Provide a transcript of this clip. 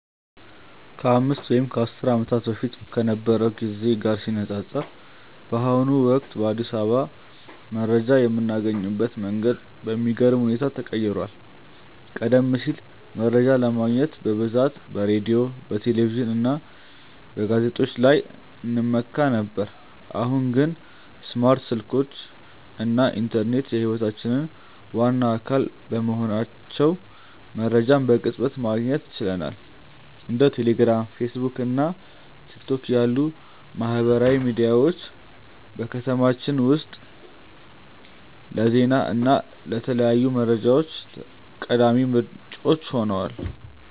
ከአምስት ወይም ከአስር ዓመታት በፊት ከነበረው ጊዜ ጋር ሲነፃፀር፣ በአሁኑ ወቅት በአዲስ አበባ መረጃ የምናገኝበት መንገድ በሚገርም ሁኔታ ተቀይሯል። ቀደም ሲል መረጃ ለማግኘት በብዛት በሬዲዮ፣ በቴሌቪዥን እና በጋዜጦች ላይ እንመካ ነበር፤ አሁን ግን ስማርት ስልኮች እና ኢንተርኔት የህይወታችን ዋና አካል በመሆናቸው መረጃን በቅጽበት ማግኘት ችለናል። እንደ ቴሌግራም፣ ፌስቡክ እና ቲክቶክ ያሉ ማህበራዊ ሚዲያዎች በከተማችን ውስጥ ለዜና እና ለተለያዩ መረጃዎች ቀዳሚ ምንጮች ሆነዋል።